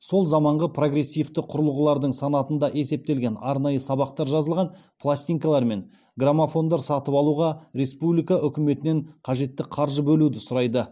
сол заманғы прогрессивті құралғылардың санатында есептелген арнайы сабақтар жазылған пластинкалар мен грамофондар сатып алуға республика үкіметінен қажетті қаржы бөлуді сұрайды